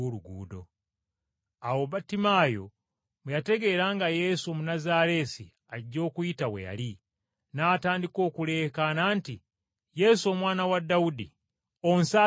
Awo Battimaayo bwe yategeera nga Yesu Omunnazaaleesi ajja okuyita we yali, n’atandika okuleekaana nti, “Yesu, Omwana wa Dawudi, onsaasire!”